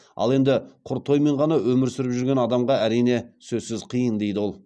ал енді құр тоймен ғана өмір сүріп жүрген адамға әрине сөзсіз қиын дейді ол